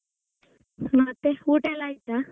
ಮತ್ತೆ ಊಟ ಎಲ್ಲಾ ಆಯ್ತಾ?